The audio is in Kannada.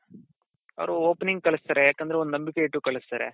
ಅವ್ರು opening ಕಳಿಸ್ತಾರೆ ಯಾಕಂದ್ರೆ ಒಂದ್ ನಂಬಿಕೆ ಇಟ್ಟು ಕಳಿಸ್ತಾರೆ